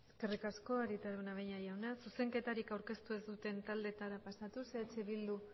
eskerrik asko arieta araunabeña jauna zuzenketarik aurkeztu ez duten taldeetara pasatuz eh bildu